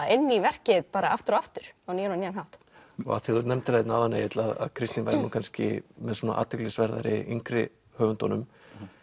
inn í verkið aftur og aftur á nýjan og nýjan hátt af því að þú nefndir það hérna áðan Egill að Kristín væri nú kannski með athyglisverðari yngri höfundum